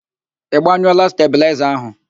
Ị gbanyụọla stabịlaịza ahụ?